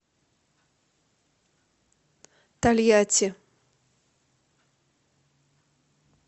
тольятти